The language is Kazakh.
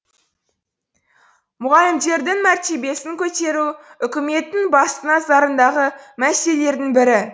мұғалімдердің мәртебесін көтеру үкіметтің басты назарындағы мәселелердің бірі